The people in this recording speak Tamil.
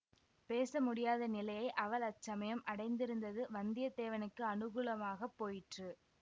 பேச முடியாத நிலையை அவள் அச்சமயம் அடைந்திருந்தது வந்தியத்தேவனுக்கு அனுகூலமாகப் போயிற்று